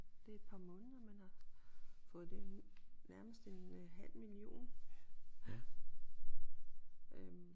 Det et par måneder man har fået det nærmest en øh halv million øh